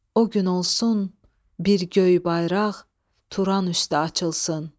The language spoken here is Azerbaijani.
O gün olsun bir göy bayraq Turan üstə açılsın.